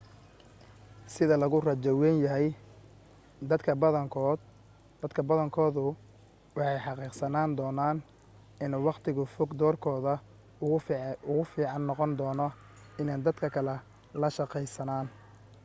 sida lagu rajo wayn yahay dadka badankoodu waxay xaqiiqsan doonaan in waqtiga fog doorkooda ugu fiican noqon doono inay dadka kale la shaqeeyaan